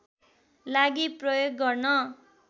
लागि प्रयोग गर्न